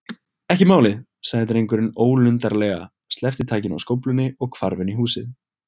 Ekki málið- sagði drengurinn ólundarlega, sleppti takinu á skóflunni og hvarf inn í húsið.